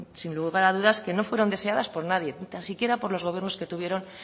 sin lugar a dudas que no fueron deseadas por nadie ni tan siquiera por los gobiernos que tuvieron